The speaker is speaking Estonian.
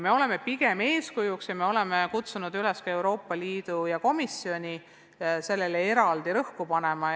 Me oleme selles vallas pigem eeskujuks ja oleme kutsunud üles ka Euroopa Liitu ja Euroopa Komisjoni sellele teemale eraldi rõhku panema.